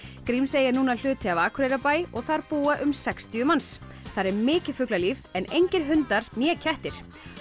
Grímsey er núna hluti af Akureyrarbæ og þar búa um sextíu manns þar er mikið fuglalíf en engir hundar né kettir